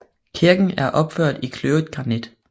Kirken er opført i kløvet granit